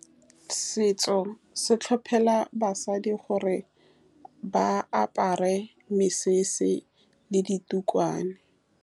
Setso se tlhophela basadi gore ba apare mesese le ditukwana.